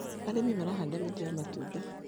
arĩmi marahanda mĩtĩ ya matunda.